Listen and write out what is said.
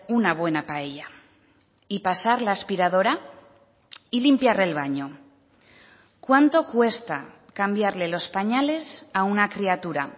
una buena paella y pasar la aspiradora y limpiar el baño cuánto cuesta cambiarle los pañales a una criatura